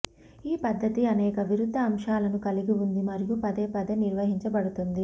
ఈ పద్ధతి అనేక విరుద్ధ అంశాలను కలిగి ఉంది మరియు పదేపదే నిర్వహించబడుతుంది